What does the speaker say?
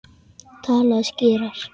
Talaðu skýrar.